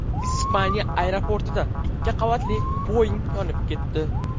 Ispaniya aeroportida ikki qavatli Boeing yonib ketdi .